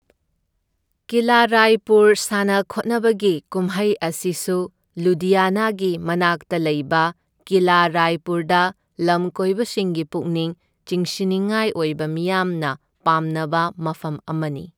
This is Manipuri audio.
ꯀꯤꯂꯥ ꯔꯥꯏꯄꯨꯔ ꯁꯥꯟꯅ ꯈꯣꯠꯅꯕꯒꯤ ꯀꯨꯝꯍꯩ ꯑꯁꯤꯁꯨ ꯂꯨꯙꯤꯌꯥꯅꯥꯒꯤ ꯃꯅꯥꯛꯇ ꯂꯩꯕ ꯀꯤꯂꯥ ꯔꯥꯏꯄꯨꯔꯗ ꯂꯝꯀꯣꯢꯕꯁꯤꯡꯒꯤ ꯄꯨꯛꯅꯤꯡ ꯆꯤꯡꯁꯤꯟꯅꯤꯡꯉꯥꯏ ꯑꯣꯏꯕ ꯃꯤꯌꯥꯝꯅ ꯄꯥꯝꯅꯕ ꯃꯐꯝ ꯑꯃꯅꯤ꯫